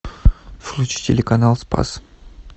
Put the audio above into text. включи телеканал спас